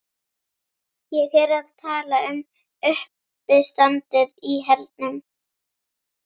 Ég er að tala um uppistandið í hernum.